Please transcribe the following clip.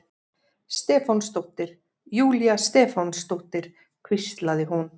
Stefánsdóttir, Júlía Stefánsdóttir, hvíslaði hún.